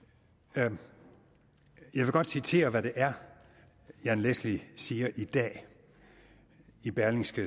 jeg vil godt citere hvad det er jan leschly siger i dag i berlingske